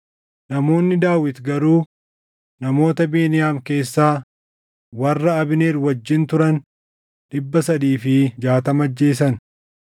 Namoonni Daawit garuu namoota Beniyaam keessaa warra Abneer wajjin turan dhibba sadii fi jaatama ajjeesan.